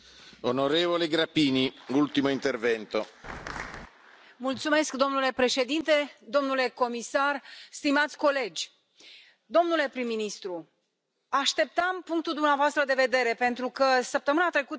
Domnule președinte, domnule comisar, stimați colegi, domnule prim ministru, așteptam punctul dumneavoastră de vedere pentru că săptămâna trecută am dat un interviu unui jurnalist din Ungaria care mă întreba cum voi vota.